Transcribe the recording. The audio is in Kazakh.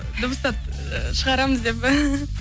дыбыстап і шығарамыз деп